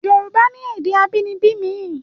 Yorùbá ni èdè abínibí mi